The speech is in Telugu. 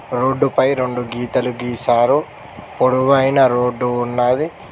రోడ్డుపై రొండు గీతలు గీసారు పొడవైన రోడ్డు ఉన్నాది.